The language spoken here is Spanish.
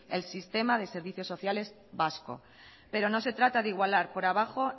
el sistema de servicios sociales vasco pero no se trata de igualar por abajo